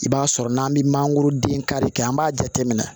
I b'a sɔrɔ n'an bɛ mangoroden kari kɛ an b'a jate minɛ